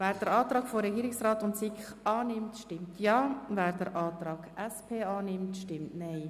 Wer den Antrag von Regierungsrat und SiK annimmt, stimmt Ja, wer den Antrag SP-JUSO-PSA annimmt, stimmt Nein.